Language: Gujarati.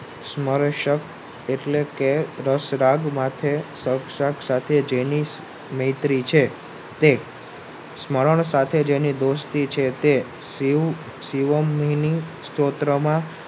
સમર્શક એટલે કે રસરગ માથે જેની મૈત્રી છે તે સમરણ સાથે જ તેની દોસ્તી છે કે તે શીવ શિવમિની સ્તોત્રમાં